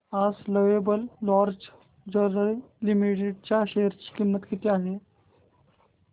आज Lovable Lingerie Limited च्या share ची किंमत किती आहे